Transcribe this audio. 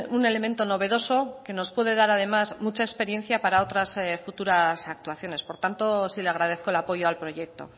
un elemento novedoso que nos puede dar además mucha experiencia para otras futuras actuaciones por tanto sí le agradezco el apoyo al proyecto